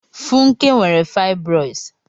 Funke nwere fibroids.